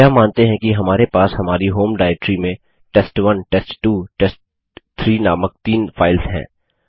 हम मानते हैं कि हमारे पास हमारी होम डाइरेक्टरी में टेस्ट1 टेस्ट2 टेस्ट3 नामक तीन फाइल्स हैं